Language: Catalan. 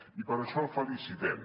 i per això el felicitem